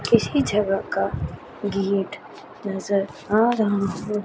किसी जगह का गेट नजर आ रहा है।